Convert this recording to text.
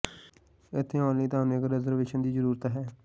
ਇੱਥੇ ਆਉਣ ਲਈ ਤੁਹਾਨੂੰ ਇੱਕ ਰਿਜ਼ਰਵੇਸ਼ਨ ਦੀ ਜ਼ਰੂਰਤ ਹੈ